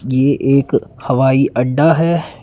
ये एक हवाई अड्डा है।